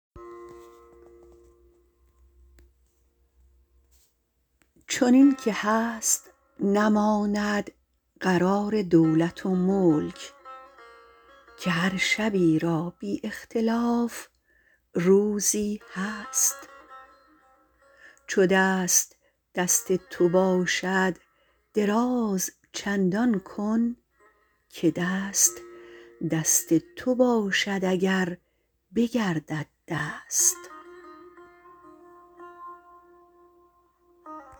چنین که هست نماند قرار دولت و ملک که هر شبی را بی اختلاف روزی هست چو دست دست تو باشد دراز چندان کن که دست دست تو باشد اگر بگردد دست